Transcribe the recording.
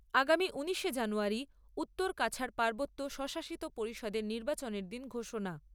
আগামী ঊনিশে জানুয়ারী উত্তর কাছাড় পার্বত্য স্বশাসিত পরিষদের নির্বাচনের দিন ঘোষণা।